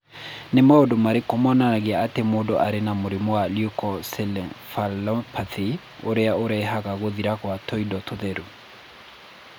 Nĩ maũndũ marĩkũ monanagia atĩ mũndũ arĩ na mũrimũ wa Leukoencephalopathy ũrĩa ũrehaga gũthira kwa tũindo tũtheru?